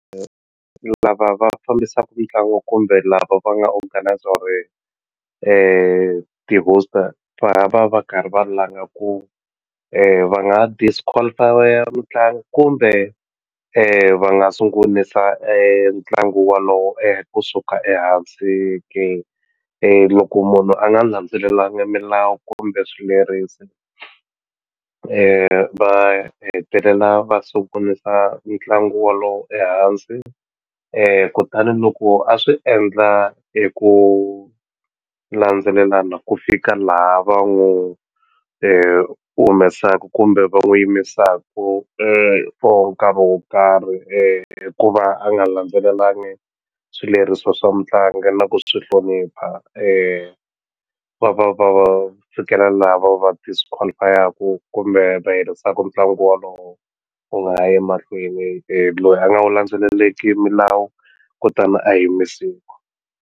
Lava va fambisaku mitlangu kumbe lava va nga organiser hoster va va va karhi va langa ku va nga disqualify-a mutlangi kumbe va nga sungulisa ntlangu walowo kusuka ehansi ke loko munhu a nga landzelelanga milawu kumbe swilerisi va hetelela va sungulisa ntlangu walowo ehansi kutani loko a swi endla hi ku landzelelana ku fika laha va n'wi humesaku kumbe va n'wi yimisaku for nkarhi wo karhi hikuva a nga landzelelangi swileriso swa mutlangi na ku swi hlonipha va va va fikela laha va va disqualify-aku kumbe va herisaku ntlangu walowo wu nga ha yi mahlweni loyi a nga wu landzeleleki milawu kutani a yimisiwa.